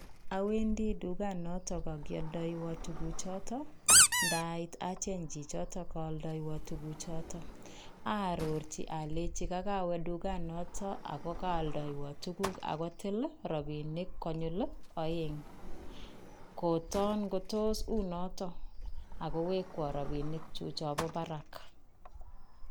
Awendi tukanoton AK kialdewon tukuchoton, ndaiit acheng chichotok ko kaldewon tukuchoton, arorchi alenchi kokowe tukanoton akoo kaaldaiwai tukuk akotil rabinik konyil oeng, kotoon ko toos kounoton akowekwon rabinikyuk chebo barak.